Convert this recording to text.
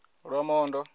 lwamondo